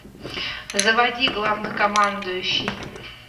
заводи главнокомандующий